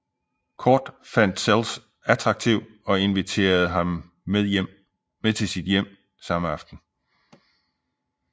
Cordt fandt Sells attraktiv og inviterede ham med til sit hjem samme aften